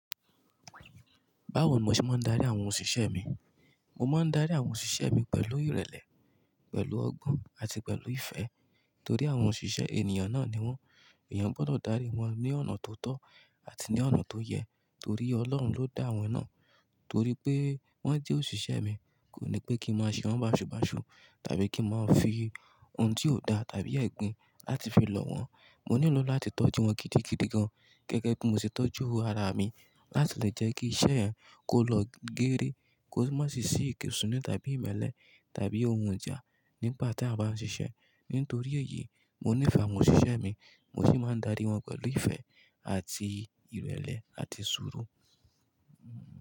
Báwo mo ṣe máa ń darí àwọn òṣìṣẹ́ mi. Mo máa ń darí àwọn òṣìṣẹ́ mi pẹ̀lú ìrẹ̀lẹ̀, pẹ̀lú ọgbọ́n àti pẹ̀lú ìfẹ́ torí àwọn òṣìṣẹ́ ènìyàn náà ni wọ́n. Èèyàn gbọ́dọ̀ darí wọn ní ọ̀nà tó tọ́ àti ní ọ̀nà tó yẹ torí Ọlọ́run ló dá wọn náà. Torí pé wọ́n jẹ́ òṣìṣẹ́ mi, kò ní pé kí n máa ṣe wọ́n baṣubaṣu tàbí kí n máa ń fi ohun tí ò da tàbí ẹ̀gbin láti fi lọ̀ wọ́n. Mo nílò lọ láti tọ́jú wọn gidigidi gan-an gẹ́gẹ́ bí mo ṣe tọ́jú ara mi láti lè jẹ́ kí iṣẹ́ ẹ wọn kó lọ geere, kó má sì ṣì í kéṣùnú tàbí ìmẹ́lẹ́ tàbí ohun ìjà nípa tí a bá ń ṣiṣẹ́. Nítorí èyí, mo nífẹ̀ẹ́ àwọn òṣìṣẹ́ mi mo sì máa ń darí wọn pẹ̀lú ìfẹ́ àti ìrẹ̀lẹ̀ àti sùúrù.